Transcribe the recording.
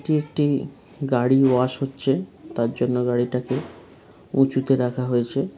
এটি একটি গাড়ি ওয়াশ হচ্ছে তারজন্য গাড়িটাকে উঁচুতে রাখা হয়েছে।